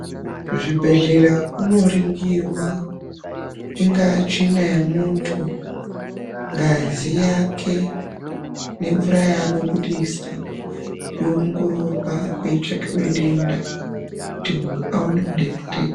Kuzvibhehlera kunoringirwa ingaa tsvina yemuntu, ngazi yake nemvura yaanobudisa yowongorowa kweitsakiwe denda kuti muntu akwanise kudetsereka.